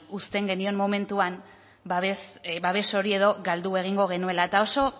uzten genion momentuan babes hori edo galdu egingo genuela eta oso